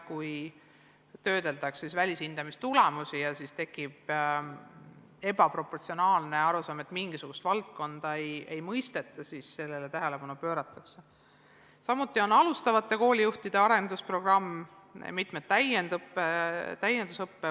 Kui töödeldakse välishindamise tulemusi ja selle käigus tekib arusaam, et mingisugust valdkonda ei mõisteta, siis pööratakse sellele tähelepanu.